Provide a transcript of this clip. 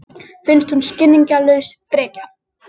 Finnst hún skilningslaus frekja.